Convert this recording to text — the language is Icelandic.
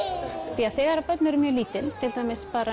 því þegar börn eru mjög lítil til dæmis bara